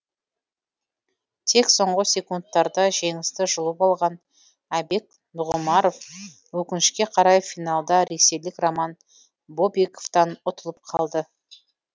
тек соңғы секундтарда жеңісті жұлып алған айбек нұғымаров өкінішке қарай финалда ресейлік роман бобиковтан ұтылып қалды